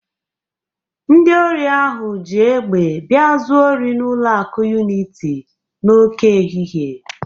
Ndị ori ahụ ji egbe bia zuo ori n'ụlọ akụ Uniti n'oke ehihie.